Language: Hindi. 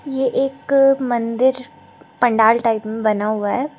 ये एक मंदिर पंडाल टाइप में बना हुआ है।